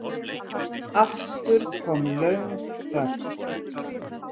Aftur kom löng þögn.